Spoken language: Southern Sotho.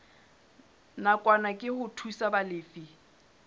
nakwana ke ho thusa balefi